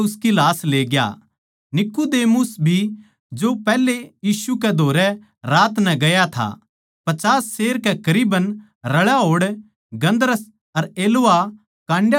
निकुदेमुस भी जो पैहलै यीशु कै धोरै रात नै गया था पचास सेर कै करीबन रळा होड़ गन्धरस अर एलवा काटे वाला पौधा लीयाया